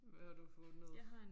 Hvad har du fundet?